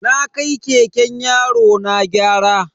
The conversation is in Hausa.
Na kai keken yarona gyara.